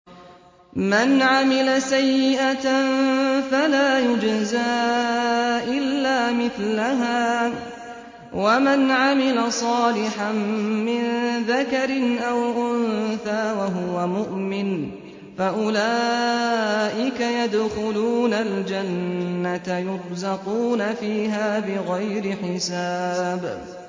مَنْ عَمِلَ سَيِّئَةً فَلَا يُجْزَىٰ إِلَّا مِثْلَهَا ۖ وَمَنْ عَمِلَ صَالِحًا مِّن ذَكَرٍ أَوْ أُنثَىٰ وَهُوَ مُؤْمِنٌ فَأُولَٰئِكَ يَدْخُلُونَ الْجَنَّةَ يُرْزَقُونَ فِيهَا بِغَيْرِ حِسَابٍ